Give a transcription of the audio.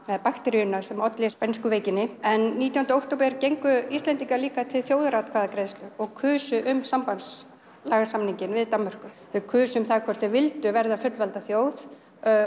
eða bakteríuna sem olli spænsku veikinni en nítjándi október gengu Íslendingar líka til þjóðaratkvæðagreiðslu og kusu um sambandslagasamninginn við Danmörku þeir kusu um það hvort þeir vildu verða fullvalda þjóð